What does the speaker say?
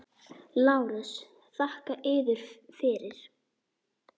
LÁRUS: Þakka yður fyrir!